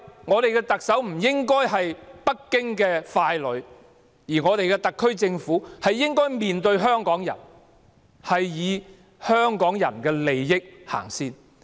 香港的特首不應是北京的傀儡，特區政府應面向香港人，以香港人的利益為先。